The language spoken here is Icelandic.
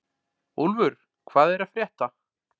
Úlfur, hvað er að frétta?